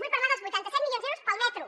vull parlar dels vuitanta set milions d’euros per al metro